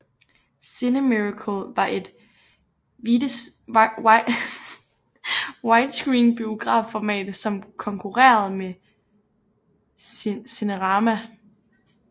Cinemiracle var et widescreen biografformat som konkurede med Cinerama